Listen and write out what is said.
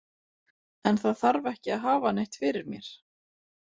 En það þarf ekki að hafa neitt fyrir mér.